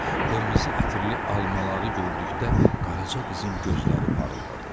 Qırmızı ətirli almaları gördükdə Qaraca qızın gözləri parıldadı.